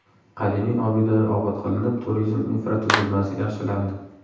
Qadimiy obidalar obod qilinib, turizm infratuzilmasi yaxshilandi.